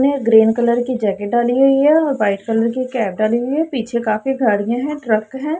ये green colour की jacket डाली हुई है व्हाइट कलर की टोपी डाली हुई है पीछे कभी काफी गाड़ियां ट्रक है।